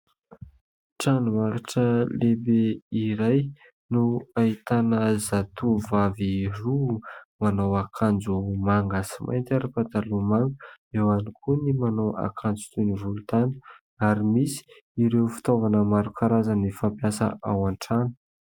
Tranombarotra lehibe iray no ahitana zatovovavy roa manao akanjo manga sy mainty ary pataloha manga. Eo ihany koa ny manao akanjo toy ny volontany. Ary misy ireo fitaovana maro karazana fampiasa ao an-trano.